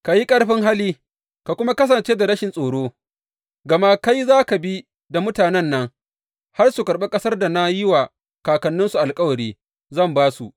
Ka yi ƙarfin hali ka kuma kasance da rashin tsoro, gama kai za ka bi da mutanen nan har su karɓi ƙasar da na yi wa kakanninsu alkawari zan ba su.